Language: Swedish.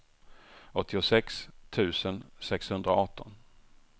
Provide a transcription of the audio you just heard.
åttiosex tusen sexhundraarton